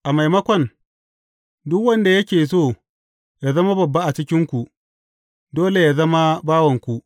A maimakon, duk wanda yake so yă zama babba a cikinku, dole yă zama bawanku.